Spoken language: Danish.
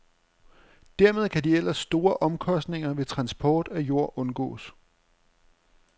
Dermed kan de ellers store omkostninger ved transport af jord undgås.